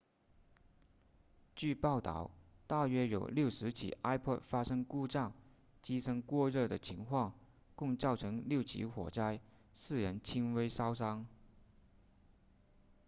据报道大约有60起 ipod 发生故障机身过热的情况共造成6起火灾4人轻微烧伤